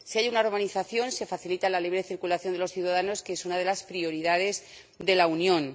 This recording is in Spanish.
Si hay una organización, se facilita la libre circulación de los ciudadanos, que es una de las prioridades de la Unión.